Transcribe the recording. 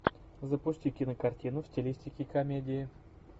запусти кинокартину в стилистике комедии